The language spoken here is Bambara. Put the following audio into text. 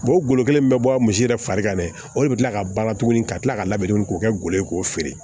o golo kelen min bɛ bɔ misi yɛrɛ fari kan dɛ o de bɛ tila ka baara tuguni ka tila ka labɛn tuguni k'o kɛ golo ye k'o feere